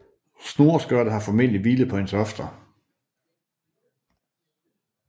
Snoreskørtet har formodentlig hvilet på hendes hofter